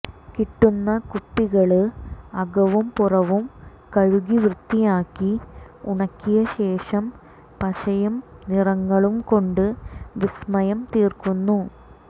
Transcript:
കിട്ടുന്ന കുപ്പികള് അകവും പുറവും കഴുകി വൃത്തിയാക്കി ഉണക്കിയ ശേഷം പശയും നിറങ്ങളും കൊണ്ടു വിസ്മയം തീര്ക്കുന്നു